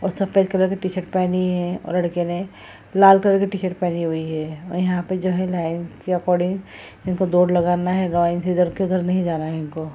और सफ़ेद कलर के टी-शर्ट पहने हुए है लड़के ने लाल कलर के पहने हुई है और यहाँ पे लाइन के ऐकोडिंग इनको दौड़ लगाना है लाइन के इधर-उधर नहीं जाना है इनको।